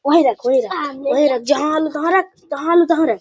वही रख वही रख --